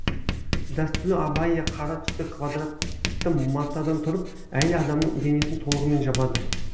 дәстүрлі абайя қара түсті квадрат матадан тұрып әйел адамның денесін толығымен жабады